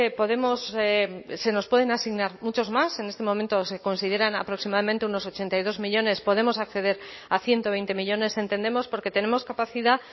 podemos se nos pueden asignar muchos más en este momento se consideran aproximadamente unos ochenta y dos millónes podemos acceder a ciento veinte millónes entendemos porque tenemos capacidad